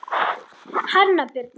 Hanna Birna.